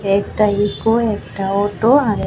একটা ইকো একটা অটো আর এক--